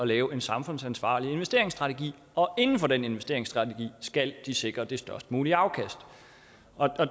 lave en samfundsansvarlig investeringsstrategi og inden for den investeringsstrategi skal de sikre det størst mulige afkast